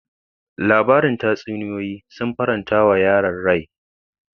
Labarin tatsuniyoyi sun faranta wa yaron farin rai.